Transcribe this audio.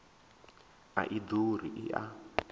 a i ḓuri i a